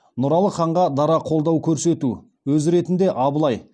нұралы ханға дара қолдау көрсету өз ретінде абылай барақ